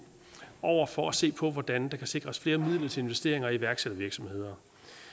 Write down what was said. over for at se på hvordan der kan sikres flere midler til investeringer i iværksættervirksomheder